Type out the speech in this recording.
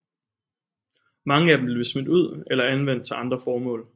Mange af dem blev smidt ud eller anvendt til andre formål